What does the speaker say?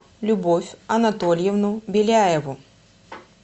любовь анатольевну беляеву